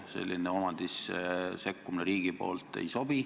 Selline riigipoolne omandisse sekkumine ei sobi.